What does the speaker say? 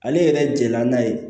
Ale yɛrɛ jɛla n'a ye